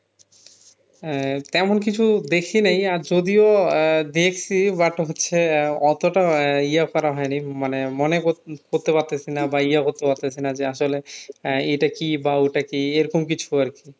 আহ তেমন কিছু দেখি নাই আর যদিও আহ দেখছি but হচ্ছে আহ অতটা আহ ইয়ে করা হয়নি মানে মনে কর~করতে পারতেছি না বা ইয়ে করতে পারতেছি না যে আসলে আহ এটা কি বা ওটা কি এরকম কিছু আর কি